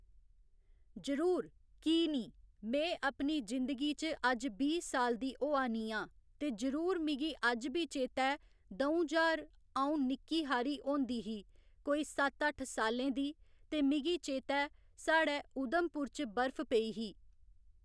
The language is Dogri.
जरूर की निं में अपनी जिंदगी च अज्ज बीह् साल दी होआ नी आं ते जरूर मिगी अज्ज बी चेता ऐ दौं ज्हार अं'ऊ निक्की हारी होंदी ही कोई सत्त अट्ठ सालै दी ते मिगी चेता ऐ साढ़े उधमपुर च बर्फ पेई ही